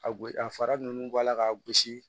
A gosi a fara ninnu bɔ a la k'a gosi